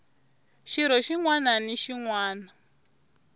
xirho xin wana na xin